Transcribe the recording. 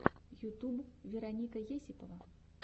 ютуб вероника есипова